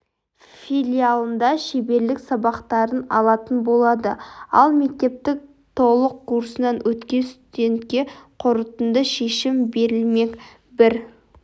филиалында шеберлік сабақтарын алатын болады ал мектептің толық курсынан өткен студентке қорытынды шешім берілмек бір